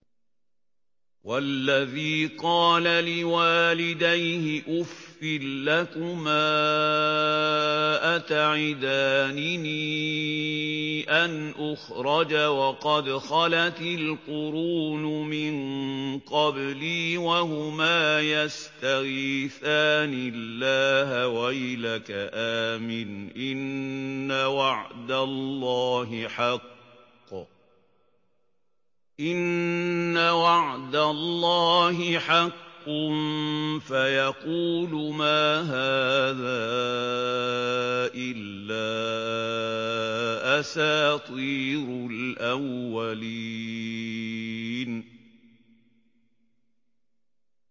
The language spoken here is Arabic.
وَالَّذِي قَالَ لِوَالِدَيْهِ أُفٍّ لَّكُمَا أَتَعِدَانِنِي أَنْ أُخْرَجَ وَقَدْ خَلَتِ الْقُرُونُ مِن قَبْلِي وَهُمَا يَسْتَغِيثَانِ اللَّهَ وَيْلَكَ آمِنْ إِنَّ وَعْدَ اللَّهِ حَقٌّ فَيَقُولُ مَا هَٰذَا إِلَّا أَسَاطِيرُ الْأَوَّلِينَ